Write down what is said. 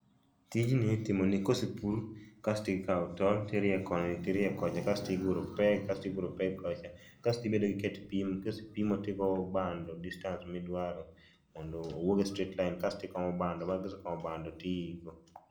tijni itimo ni kosepur kasto ikao tol to irieyo koni tirieyo kocha kasto iguro peg kasto iguro peg kocha kasto ibedo gi ket pimo kaisepimo kasto igoyo bando distance ma idwaro mondo owuog e straight line kasto ikomo bando bang' ka isekomo bado to iiko